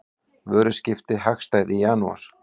Vöruskipti hagstæð í janúar